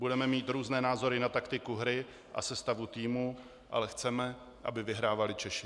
Budeme mít různé názory na taktiku hry a sestavu týmu, ale chceme, aby vyhrávali Češi.